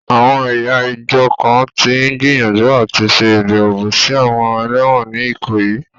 Àwọn ẹ̀yà ìjọ kan tí ń gbìyànjú àti ṣe ìbẹ̀wò sí àwọn ẹlẹ́wọ̀n ní Ikoyi.